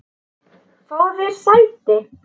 Fáðu þér sæti!